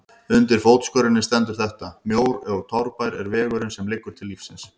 Undir fótskörinni stendur þetta: Mjór og torfær er vegurinn sem liggur til lífsins.